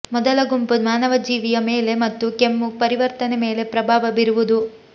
ಮೊದಲ ಗುಂಪು ಮಾನವ ಜೀವಿಯ ಮೇಲೆ ಮತ್ತು ಕೆಮ್ಮು ಪ್ರತಿವರ್ತನ ಮೇಲೆ ಪ್ರಭಾವ ಬೀರುವುದು